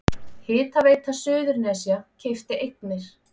Hitaveita Suðurnesja keypti eignir